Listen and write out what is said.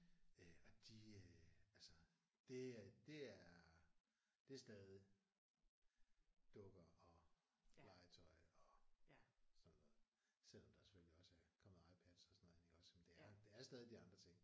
Øh og de øh altså det er det er det er stadig dukker og legetøj og sådan noget. Selvom der selvfølgelig også er kommet iPads og sådan noget ind iggås men det er det er stadig de andre ting